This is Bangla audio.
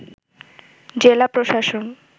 জেলা প্রশাসন